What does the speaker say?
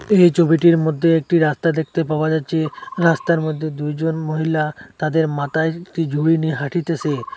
এই ছবিটির মধ্যে একটি রাস্তা দেখতে পাওয়া যাচ্ছে রাস্তার মধ্যে দুইজন মহিলা তাদের মাতায় একটি ঝুড়ি নিয়ে হাঁটিতেসে।